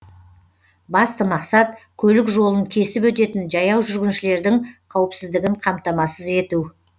басты мақсат көлік жолын кесіп өтетін жаяу жүргіншілердің қауіпсіздігін қамтамасыз ету